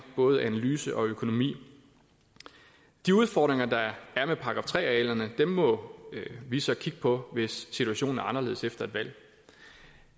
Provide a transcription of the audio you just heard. både analyse og økonomi de udfordringer der er med § tre arealerne må vi så kigge på hvis situationen er anderledes efter et valg